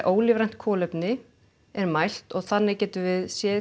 ólífrænt kolefni er mælt og þannig getum við séð